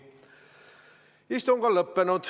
Istung on lõppenud.